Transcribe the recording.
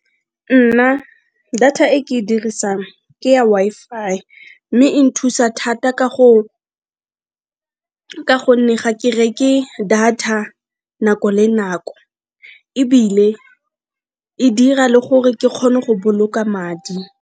Nna data e ke e dirisang ke ya Wi-Fi mme e nthusa thata ka gonne ga ke reke data nako le nako ebile e dira le gore ke kgone go boloka madi.